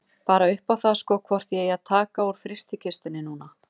Bara upp á það sko hvort ég eigi að taka úr frystikistunni núna.